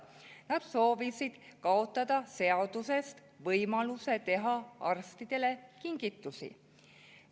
Nad soovisid kaotada seadusest võimaluse teha arstidele kingitusi.